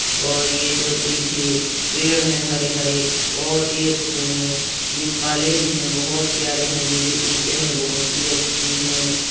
और ये जो पीछे पेड़ हैं हरे-हरे बोहोत ही अच्छे हैं। ये काले भी हैं बोहोत प्यारे हैं। ये जो ईंटें हैं बोहोत ही अच्छी हैं।